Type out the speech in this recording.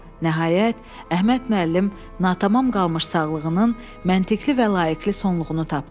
Nəhayət, Əhməd müəllim natamam qalmış sağlığının məntiqli və layiqli sonluğunu tapdı.